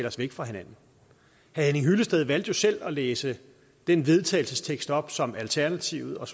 os væk fra hinanden herre henning hyllested valgte selv at læse den vedtagelsestekst op som alternativet og